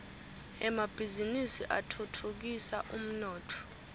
emabhizinisi atfutfukisa umnotfo